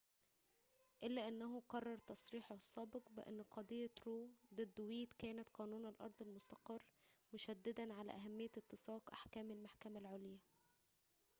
إلا أنه كرر تصريحه السابق بأن قضية رو ضد ويد كانت قانون الأرض المستقر مشددًا على أهمية اتساق أحكام المحكمة العليا